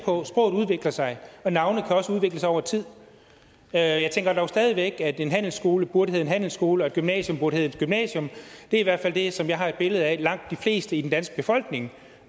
for sproget udvikler sig og navne kan også udvikle sig over tid jeg tænker dog stadig væk at en handelsskole burde hedde en handelsskole og et gymnasium burde hedde et gymnasium det er i hvert fald det som jeg har et billede af at langt de fleste i den danske befolkning